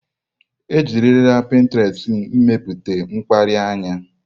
Ejirila pịntrestị mepụta mkpali anya.